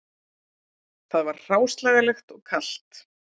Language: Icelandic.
Það var hráslagalegt og kalt